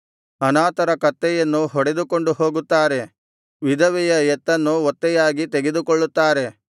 ಅನಾಥರ ಕತ್ತೆಯನ್ನು ಹೊಡೆದುಕೊಂಡು ಹೋಗುತ್ತಾರೆ ವಿಧವೆಯ ಎತ್ತನ್ನು ಒತ್ತೆಯಾಗಿ ತೆಗೆದುಕೊಳ್ಳುತ್ತಾರೆ